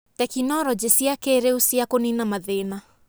tekinoronjĩ cia kĩrĩu cia kũnina mathĩna.